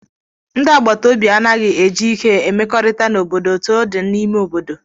Ndi agbataobi anaghị eji ike emekọrịta n'obodo etu ọ dị n'ime obodo